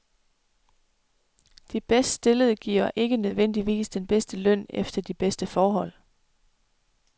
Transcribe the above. De bedst stillede giver ikke nødvendigvis den bedste løn eller de bedste forhold.